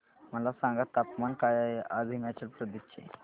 मला सांगा तापमान काय आहे आज हिमाचल प्रदेश चे